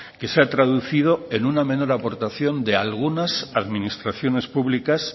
que se ha traducido en una menor aportación de algunas administraciones públicas